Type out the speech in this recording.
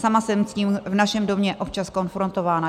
Sama jsem s tím v našem domě občas konfrontována.